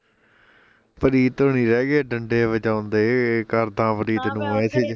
ਪ੍ਰੀਤ ਹੁਣਈ ਰਹਿਗੇ ਡੰਡੇ ਵਜਾਉਂਦੇ ਕਰਦਾ ਪ੍ਰੀਤ ਨੂੰ message